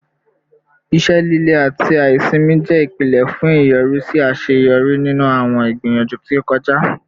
Ise lile ati aisimi jẹ ipilẹ fun iyọrisi aṣeyọri ninu awọn igbiyanju ti o kọja